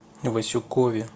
васюкове